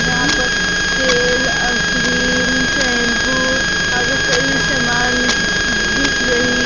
यहां पर तेल और क्रीम शैंपू और कई समान दिख रही--